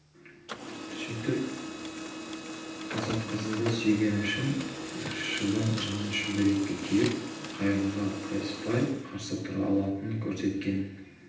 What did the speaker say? сөйтіп қазақ қызы да сүйгені үшін шыбын жанын шүберекке түйіп қайғыға қайыспай қарсы тұра алатынын көрсеткен